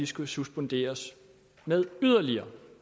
skal suspenderes med yderligere